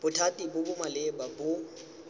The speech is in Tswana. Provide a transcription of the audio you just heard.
bothati bo bo maleba bo